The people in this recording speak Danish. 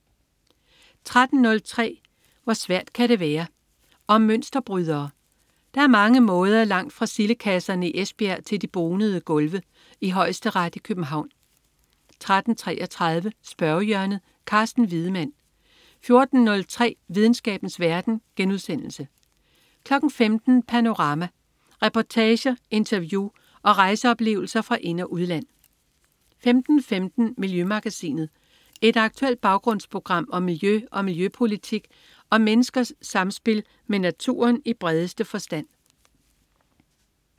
13.03 Hvor svært kan det være? Om mønsterbrydere. Der er på mange måder langt fra sildekasserne i Esbjerg til de bonede gulve i Højesteret i København 13.33 Spørgehjørnet. Carsten Wiedemann 14.03 Videnskabens verden* 15.00 Panorama. Reportager, interview og rejseoplevelser fra ind- og udland 15.15 Miljømagasinet. Et aktuelt baggrundsprogram om miljø og miljøpolitik og om menneskers samspil med naturen i bredeste forstand